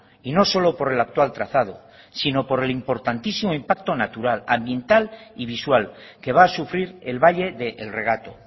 y no solo por el actual trazado sino por el importantísimo impacto natural ambiental y visual que va a sufrir el valle de el regato